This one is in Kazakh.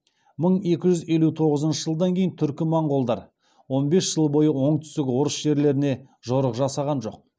мың екі жүз елу тоғызыншы жылдан кейін түркі моңғолдар он бес жыл бойы оңтүстік орыс жерлеріне жорық жасаған жоқ